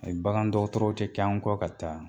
Ayi bagan dɔgɔtɔrɔ kɛ kɛ an kɔ ka taa